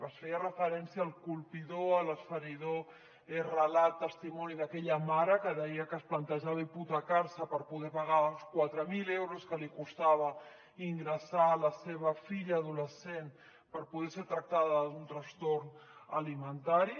es feia referència al colpidor a l’esfereïdor relat testimoni d’aquella mare que deia que es plantejava hipotecar se per poder pagar els quatre mil euros que li costava ingressar la seva filla adolescent per poder ser tractada d’un trastorn alimentari